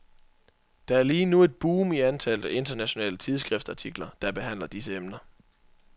Der er lige nu et boom i antallet af internationale tidsskriftartikler, der behandler disse emner.